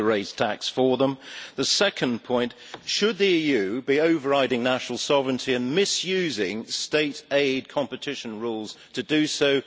We have to raise tax for them. The second point should the EU be overriding national sovereignty and misusing state aid competition rules to do so?